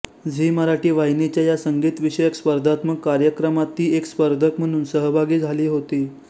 Zee Marathi वाहिनीच्या या संगीत विषयक स्पर्धात्मक कार्यक्रमात ती एक स्पर्धक म्हणून सहभागी झाली होती